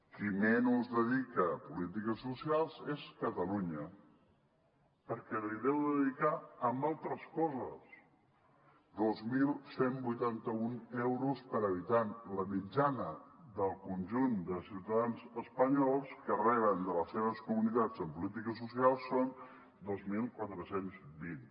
qui menys dedica a polítiques socials és catalunya perquè ho deu dedicar a altres coses dos mil cent i vuitanta un euros per habitant la mitjana del conjunt de ciutadans espanyols que reben de les seves comunitats en polítiques socials són dos mil quatre cents i vint